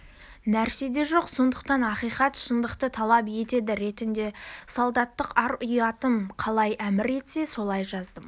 нәрсе де жоқ сондықтан ақиқат шындықты талап етеді ретінде солдаттық ар-ұятым қалай әмір етсе солай жаздым